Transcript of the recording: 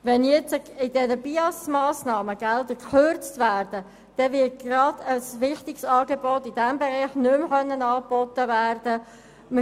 Wenn bei den kantonalen Beschäftigungs- und Integrationsangeboten der Sozialhilfe (BIAS) Gelder gekürzt werden, wird ein gerade in diesem Bereich wichtiges Angebot nicht mehr angeboten werden können.